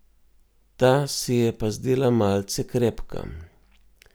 Ta se je pa zdela malce krepka.